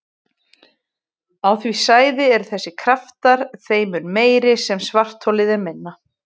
Á því svæði eru þessir kraftar þeim mun meiri sem svartholið er minna.